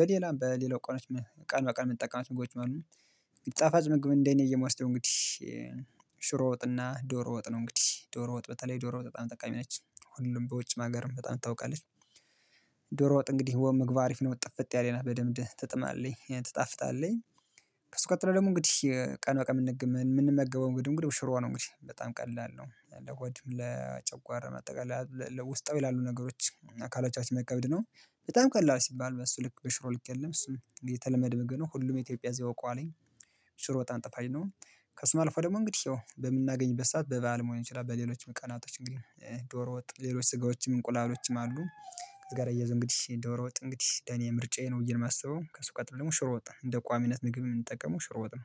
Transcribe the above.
በሌላም በሌላው ቀኖች ቀን በቀን የምንጠቀማቸው ምግቦችም አሉ ጣፋጭ ምግብ እንደኔ ብየ የምወስደው እንግዲህ ሽሮ ወጥና ዶሮ ወጥ ነው እንግዲህ ዶሮ ወጥ በተለይ ዶሮ ወጥ በጣም ጠቃሚ ነች። ሁሉም በውጭ አገርም በጣም ትታወቃለች ዶሮ ወጥ እንግዲህ ምግቧ አሪፍ ነው። ጥፍጥ ያለች በደንብ ትጥማለይ ትጣፍጣለይ ከሱ ቀጥሎ ደግሞ እንግዲህ ቀን በቀን የምንገበው እንግዲህ እንግዲህ ሽሮ ነው። እንግዲህ በጣም ቀላል ነው ለሆድም ለጨጓራ በአጠቃላይ ለውስጣዊ ላሉ ነገሮች አካሎቻችን መቀበል ነው በጣም ቀላል ሲባል በሱ ልክ በሽሮ ልክ የለም እሱም የተለመደ ምግብ ነው ሁሉም የኢትዮጵያ ህዝብ ያውቀዋል ሽሮ በጣም ጣፋኝ ነው። ከስም አልፎ ደግሞ እንግዲህ ይኸው በምናገኝበት ሰዓት በበዓልም መሆን ይችላል በሌሎችም ቀናቶችም እንግዲህ ዶሮ ወጥ ሌሎች ስጋዎችም እንቁላሎችም አሉ። ጋር እያይዞ እንግዲህ ዶሮ ወጥ እንግዲህ የኔ ምርጫዬ ነው ብዬ ነው የማስበው ከሱ ቀጥሎ ደግሞ ሽሮ ወጥ ነው እንደ ቋሚነት ምግብ የምንጠቀመው ሽሮ ወጥ ነው